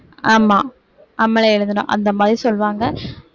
ஆமா நம்மளே எழுதணும் அந்த மாதிரி சொல்வாங்க